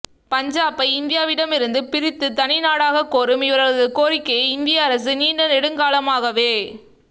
பஞ்சாபை இந்தியாவிடம் இருந்து பிரித்து தனிநாடாக்கக் கோரும் இவர்களது கோரிக்கையை இந்திய அரசு நீண்ட நெடுங்காலமாகவே